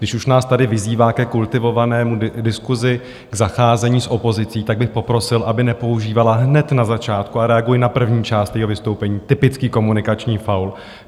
Když už nás tady vyzývá ke kultivované diskusi, k zacházení s opozicí, tak bych poprosil, aby nepoužívala hned na začátku, a reaguji na první část jejího vystoupení, typický komunikační faul.